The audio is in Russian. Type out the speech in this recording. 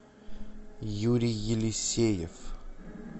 юрий елисеев